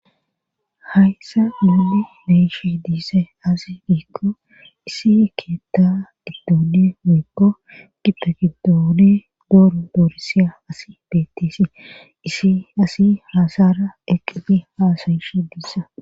Hayssa muli beyishe diisa asi diikko isi keetta giddooni moykko gipe giddooni dooro doorisiya asi beettisi isi asi haasara eqqini haasayishe diissa